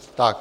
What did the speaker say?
Tak.